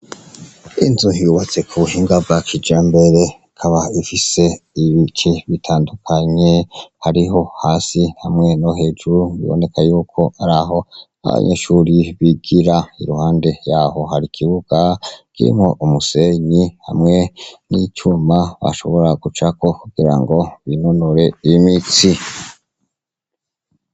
Inzu hyubatse ku buhingabak ija mbere kaba ifise ibiki bitandukanye hariho hasi hamwe no hejuru biboneka yuko ari aho aba nyeshuri bigira iruhande yaho hari ikibuga girimwe umusenyi hamwe n'icuma bashobora gucako era ngo binonore imitsi.